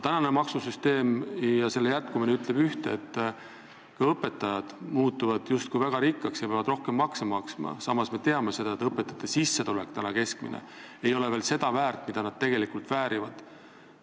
Praegune maksusüsteem ja selle jätkumine ütleb ühte: ka õpetajad muutuvad justkui väga rikkaks ja peavad rohkem makse maksma, samas me teame, et õpetajate keskmine sissetulek ei ole veel selline, mida nad tegelikult väärivad.